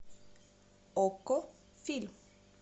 окко фильм